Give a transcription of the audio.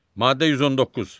Maddə 119.